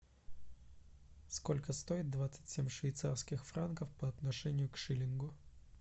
сколько стоит двадцать семь швейцарских франков по отношению к шиллингу